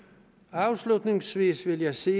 afslutningsvis vil jeg sige